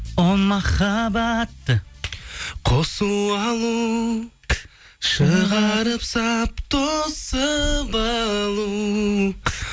о махаббат де қосу алу шығарып салып тосып алу